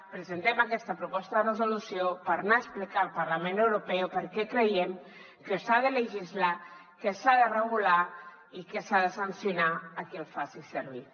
presentem aquesta proposta de resolució per anar ho a explicar al parlament europeu perquè creiem que s’ha de legislar que s’ha de regular i que s’ha de sancionar a qui el faci servir